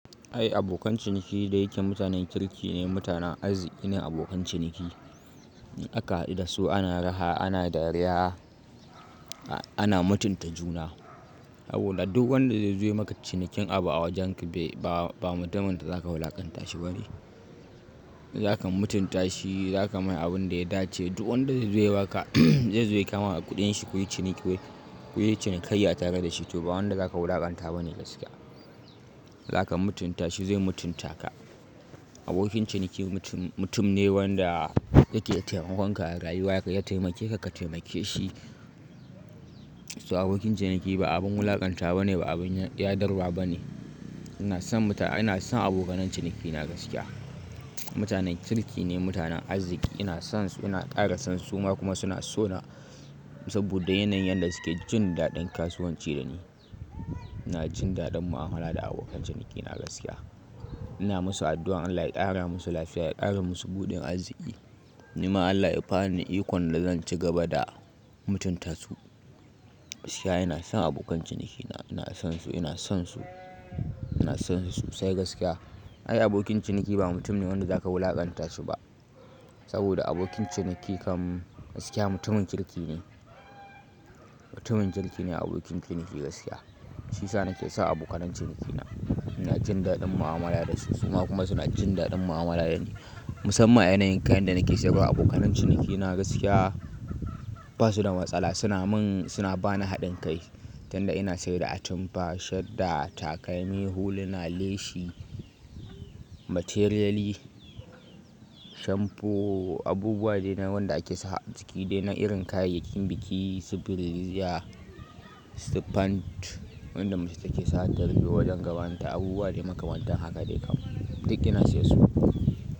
Ai abokan ciniki da yake mutanen kirki ne, mutanen arziki ne abokan ciniki. In aka haɗu da su ana raha, ana dariya, a-ana mutunta juna. Saboda duk wanda zai zo maka cinikin abu a wajenki bai, ba, ba mutumin da za ka wulaƙanta shi bane. Za ka mutunta shi, za ka mai abun da ya dace. Duk wanda zai zo ya ba ka, zai zo ya kama kuɗin shi ko yin ciniki, ko yin cinikai ya tare da shi to ba wanda za ka wulaƙanta bane gaskiya. Za ka mutunta shi zai mutunta ka. Abokin ciniki mutum, mutum ne wanda yake taimakon ka a rayuwa ka, ya taimake ka, ka taimake shi. So abokin ciniki ba abin wulaƙanta bane ba abin yadarwa bane. Ina son muta, ina son abokanai ciniki na gaskiya. Mutanen kirki ne mutanen arziki. Ina son su, ina ƙara son su suma kuma suna so na saboda yanayin yadda suke jin daɗin kasuwanci da ni. Ina jin daɗin mu'amala da abokan ciniki na gaskiya. Ina musu addu'ar Allah ya ƙara musu lafiya, ya ƙara musu buɗin arziki. Ni ma Allah ya bani ikon da zan ci gaba da mutunta su. Gaskiya ina son abokan ciniki na, ina son su, ina son su, ina son su sai gaskiya. Ai abokin ciniki ba mutum ne wanda za ka wulaƙanta shi ba saboda abokin ciniki kam gaskiya mutumin kirki ne. Mutumin kirki ne abokin ciniki gaskiya. Shi sa na ke so abokanai ciniki na. Ina jin daɗin mu'amala da su kuma suna jin daɗin mu'amala da ni. Musamman yanayin kayan da nake sayarwa abokanai ciniki na gaskiya basu da matsala. Suna min, suna bani haɗin kai. Dan da ina sayar da atamfa, shadda, takalmi, huluna, leshi, materiyali, shamfo abubuwa dai na wanda ake sa a jiki dai na irin kayayyakin biki, su bireziya su pant wanda mace take sa wa ta rufe wajen gabanta abubuwa dai makamanta haka dai kam duk ina siyar su.